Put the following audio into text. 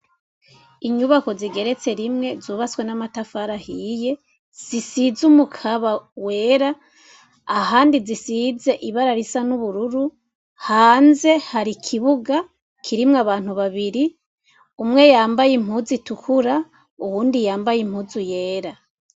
inyubako zigeretse rimwe zubatswe n'amatafari ahiye zisize umukaba wera ahandi zisize ibara risa n'ubururu hanze hari ikibuga kirimwo abantu babiri umwe yambaye impuzu itukura uwundi yambaye impuzu yera